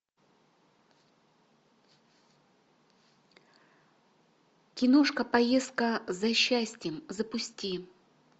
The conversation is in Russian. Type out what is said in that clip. киношка поездка за счастьем запусти